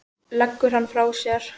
Leggur hann frá sér.